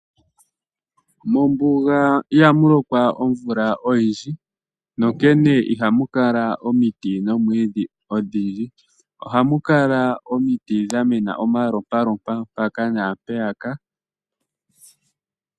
Mombuga ihamu lokwa omvula oyindji, nonkene ihamu kala omiti nomwiidhi odhindji. Ohamu kala omiti dha mena omalompalompa mpaka nampeyaka.